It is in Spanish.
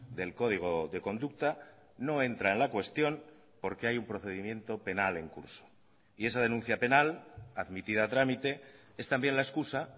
del código de conducta no entra en la cuestión porque hay un procedimiento penal en curso y esa denuncia penal admitida a trámite es también la excusa